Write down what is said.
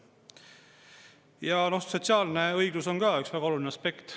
Ja sotsiaalne õiglus on ka üks väga oluline aspekt.